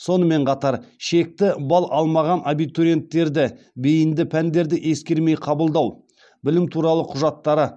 сонымен қатар шекті балл алмаған абитуриенттерді бейінді пәндерді ескермей қабылдау білім туралы құжаттары